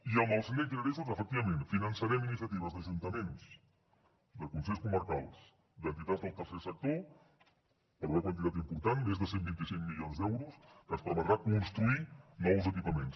i amb els next generation efectivament finançarem iniciatives d’ajuntaments de consells comarcals d’entitats del tercer sector per una quantitat important més de cent i vint cinc milions d’euros que ens permetrà construir nous equipaments